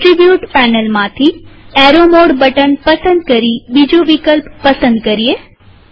attribute પેનલમાંથી arrow mode button પસંદ કરીબીજું વિકલ્પ પસંદ કરીએ